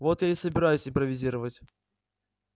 вот я и собираюсь импровизировать